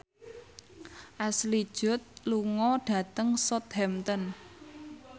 Ashley Judd lunga dhateng Southampton